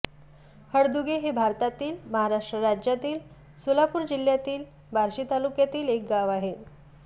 हळदुगे हे भारतातील महाराष्ट्र राज्यातील सोलापूर जिल्ह्यातील बार्शी तालुक्यातील एक गाव आहे